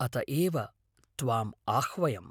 अत एव त्वाम् आह्वयम्।